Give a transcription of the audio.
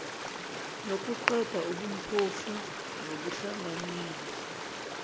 nokuqeda ubumpofu nokuhlanganyela